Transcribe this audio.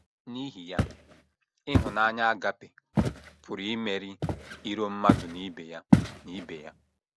N’ihi ya, ịhụnanya a·gaʹpe pụrụ imeri iro mmadụ na ibe ya na ibe ya.